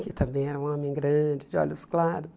Que também era um homem grande, de olhos claros.